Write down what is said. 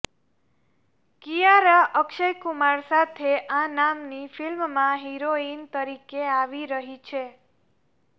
કિયારા અક્ષયકુમાર સાથે આ નામની ફિલ્મમાં હિરોઈન તરીકે આવી રહી છે